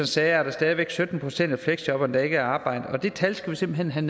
sagde er der stadig væk sytten procent af fleksjobberne der ikke er i arbejde og det tal skal vi simpelt hen